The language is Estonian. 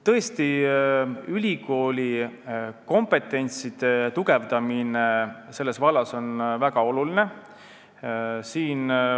Tõesti, ülikooli kompetentsuse tugevdamine selles vallas on väga oluline.